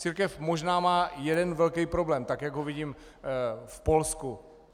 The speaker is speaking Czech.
Církev možná má jeden velký problém, tak jak ho vidím v Polsku.